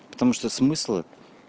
потому что смысла